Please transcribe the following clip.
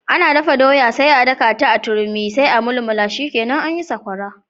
Ana dafa doya sai a dakata a turmi sai a mulmula shikenan anyi Sakwara.